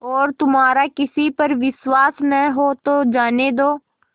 और तुम्हारा किसी पर विश्वास न हो तो जाने दो